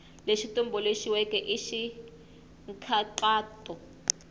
lexi tumbuluxiweke i xa nkhaqato